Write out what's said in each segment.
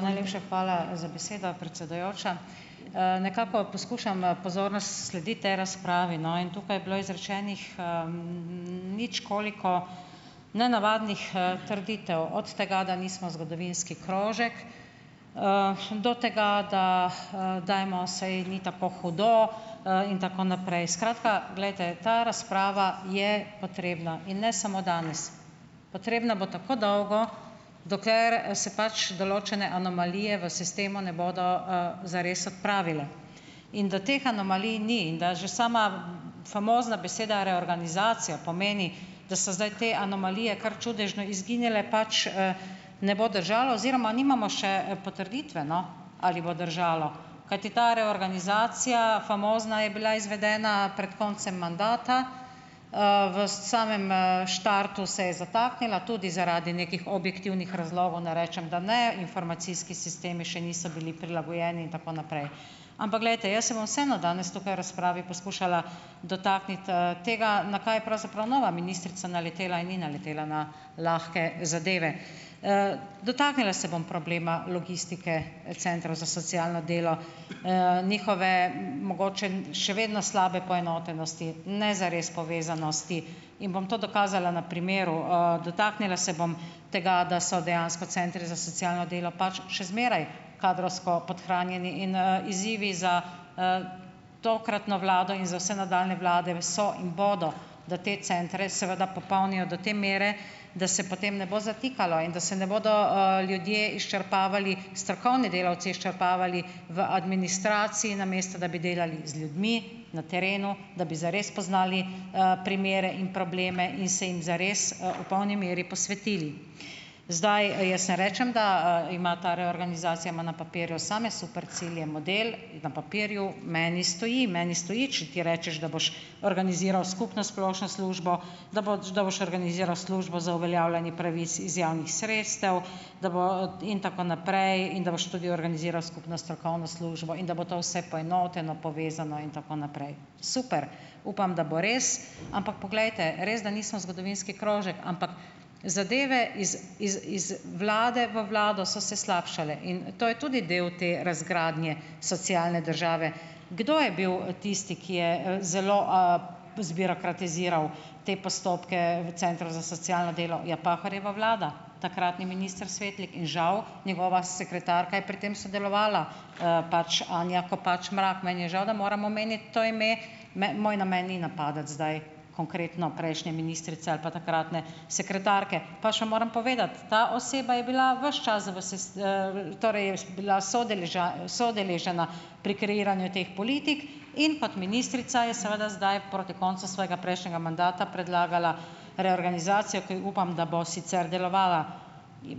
Najlepša hvala za besedo, predsedujoča. Nekako poskušam, pozorno slediti tej razpravi, no, in tukaj je bilo izrečenih nič koliko nenavadnih, trditev, od tega, da nismo zgodovinski krožek, do tega, da dajmo, saj ni tako hudo, in tako naprej. Skratka, glejte, ta razprava je potrebna, in ne samo danes, potrebna bo tako dolgo, dokler se pač določene anomalije v sistemu ne bodo, zares odpravile. In da teh anomalij ni in da že sama famozna beseda reorganizacija pomeni, da so zdaj te anomalije kar čudežno izginile pač, ne bo držalo oziroma nimamo še potrditve, no, ali bo držalo, kajti ta reorganizacija famozna je bila izvedena pred koncem mandata, v samem, štartu se je zataknila, tudi zaradi nekih objektivnih razlogov, ne rečem, da ne, informacijski sistemi še niso bili prilagojeni in tako naprej. Ampak, glejte, jaz se bom vseeno danes razpravi poskušala dotakniti, tega, na kaj je pravzaprav nova ministrica naletela, in ni naletela na lahke zadeve. Dotaknila se bom problema logistike centrov za socialno delo, njihove mogoče še vedno slabe poenotenosti, ne zares povezanosti, in bom to dokazala na primeru. Dotaknila se bom tega, da so dejansko centri za socialno delo pač še zmeraj kadrovsko podhranjeni, in, izzivi za tokratno vlado in za vse nadaljnje vlade so in bodo, da te centre seveda popolnijo do te mere, da se potem ne bo zatikalo, in da se ne bodo, ljudje izčrpavali, strokovni delavci izčrpavali v administraciji, namesto da bi delali z ljudmi, na terenu, da bi zares poznali, primere in probleme in se jim zares, v polni meri posvetili. Zdaj, jaz ne rečem, da ima ta reorganizacija ima na papirju same super cilje. Model na papirju meni stoji, meni stoji, če ti rečeš, da boš organiziral skupno splošno službo, da da boš organiziral službo za uveljavljanje pravic iz javnih sredstev, da in tako naprej, in da boš tudi organiziral skupno strokovno službo, in da bo to vse poenoteno, povezano in tako naprej Super! Upam, da bo res. Ampak poglejte, res da nismo zgodovinski krožek, ampak zadeve iz, iz, iz vlade v vlado so se slabšale in to je tudi delo te razgradnje socialne države. Kdo je bil tisti, ki je, zelo zbirokratiziral te postopke v centru za socialno delo. Ja, Pahorjeva vlada, takratni minister Svetlik in žal njegova sekretarka je pri tem sodelovala, pač Anja Kopač Mrak. Meni je žal, da moram omeniti to ime. moj namen ni napadati zdaj konkretno prejšnje ministrice ali pa takratne sekretarke, pač pa moram povedati, ta oseba je bila ves čas v bila soudeležena pri kreiranju teh politik in kot ministrica je seveda zdaj proti koncu svojega prejšnjega mandata predlagala reorganizacijo, ki upam, da bo sicer delovala.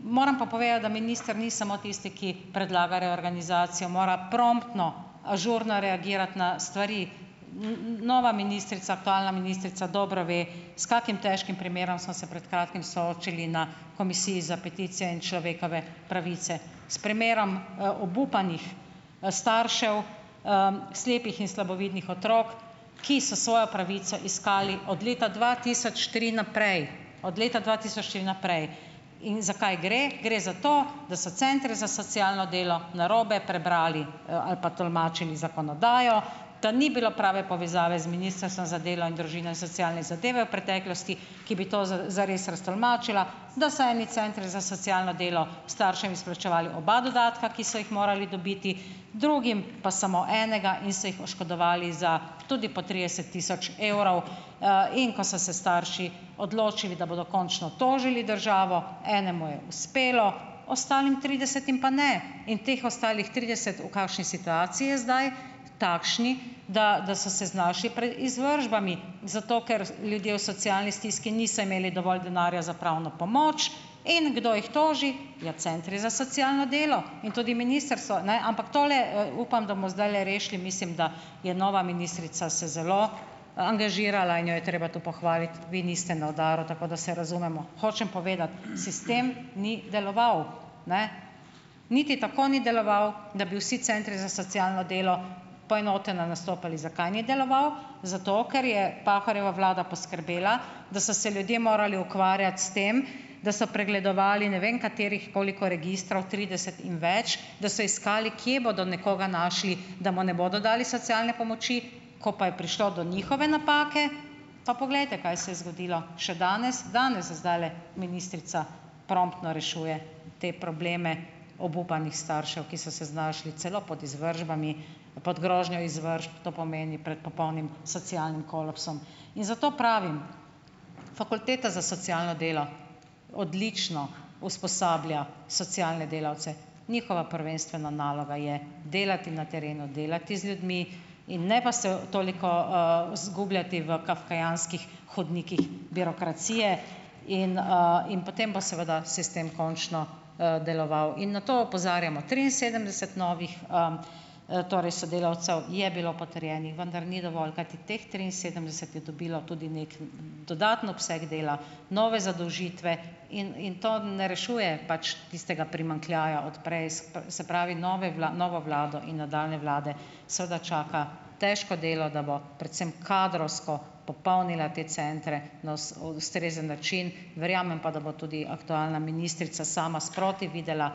Moram pa povedati, da minister ni samo tisti, ki predlaga reorganizacijo, mora promptno, ažurno reagirati na stvari, nova ministrica, ministrica dobro ve, s kakim težkim primerom smo se pred kratkim soočili na Komisiji za peticije in človekove pravice. S primerom, obupanih, staršev, slepih in slabovidnih otrok, ki so svojo pravico iskali od leta dva tisoč tri naprej, od leta dva tisoč tri naprej. In za kaj gre? Gre za to, da so centri za socialno delo narobe prebrali, ali pa tolmačili zakonodajo, da ni bilo prave povezave z Ministrstvom za delo in družino in socialne zadeve v preteklosti, ki bi to zares raztolmačila, da so eni centri za socialno delo staršem izplačevali oba dodatka, ki so jih morali dobiti, drugim pa samo enega, in se jih oškodovali za tudi po trideset tisoč evrov. In ko so se starši odločili, da bodo končno tožili državo, enemu je uspelo, ostalim tridesetim pa ne. In teh ostalih trideset, v kakšni situaciji je zdaj? Takšni, da, da so se znašli pred izvršbami zato, ker ljudje v socialni stiski niso imeli dovolj denarja za pravno pomoč. In kdo jih toži? Ja, centri za socialno delo in tudi ministrstvo, ne. Ampak tole, upam, da bomo zdajle rešili. Mislim, da je nova ministrica se zelo angažirala in jo je treba to pohvaliti, vi niste na udaru, tako da se razumemo. Hočem povedati, sistem ni deloval. Ne. Niti tako ni deloval, da bi vsi centri za socialno delo poenoteno nastopali. Zakaj ni deloval? Zato, ker je Pahorjeva vlada poskrbela, da so se ljudje morali ukvarjati s tem, da so pregledovali ne vem katerih koliko registrov, trideset in več, da so iskali kje bodo nekoga našli, da mu ne bodo dali socialne pomoči, ko pa je prišlo do njihove napake, pa poglejte, kaj se je zgodilo, še danes, danes zdajle ministrica promptno rešuje te probleme obupanih staršev, ki so se znašli celo pod izvršbami, pod grožnjo izvršb, to pomeni, prej popolnim socialnim kolapsom. In zato pravim, fakulteta za socialno delo, odlično usposablja socialne delavce, njihova prvenstvena naloga je delati na terenu, delati z ljudmi in ne pa se toliko, zgubljati v kafkajanskih hodnikih birokracije in, in potem bo seveda sistem končno, deloval. In na to opozarjamo, triinsedemdeset novih, torej sodelavcev je bilo potrjenih, vendar ni dovolj, kajti teh triinsedemdeset je dobilo tudi neki dodaten obseg dela, nove zadolžitve in in to ne rešuje pač tistega primanjkljaja od prej, se pravi, nove novo vlado in nadaljnje vlade seveda čaka težko delo, da bo predvsem kadrovsko popolnila te centre na ustrezen način, verjamem pa, da bo tudi aktualna ministrica sama sproti videla,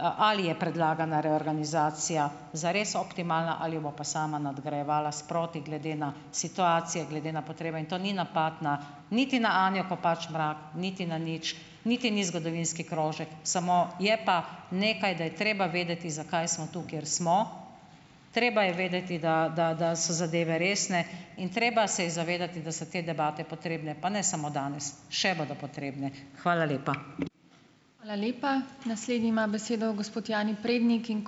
ali je predlagana reorganizacija zares optimalna ali jo bo pa sama nadgrajevala sproti glede na situacije, glede na potrebe, in to ni napad na niti na Anjo Kopač Mrak niti na nič, niti ni zgodovinski krožek, samo je pa nekaj, da je treba vedeti, zakaj smo tu, kjer smo. Treba je vedeti, da, da, da so zadeve resne in treba se je zavedati, da so te debate potrebne, pa ne samo danes. Še bodo potrebne. Hvala lepa.